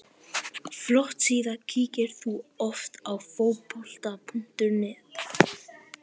Flott síða Kíkir þú oft á Fótbolti.net?